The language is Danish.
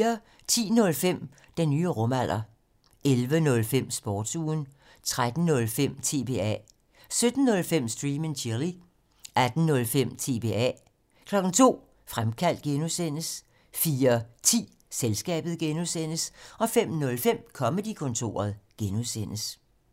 10:05: Den nye rumalder 11:05: Sportsugen 13:05: TBA 17:05: Stream and Chill 18:05: TBA 02:00: Fremkaldt (G) 04:10: Selskabet (G) 05:05: Comedy-kontoret (G)